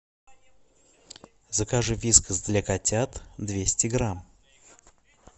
закажи вискас для котят двести грамм